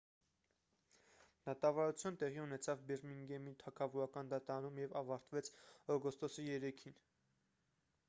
դատավարությունը տեղի ունեցավ բիրմինգհեմի թագավորական դատարանում և ավարտվեց օգոստոսի 3-ին